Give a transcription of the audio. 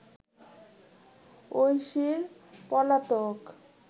ঐশীর পলাতক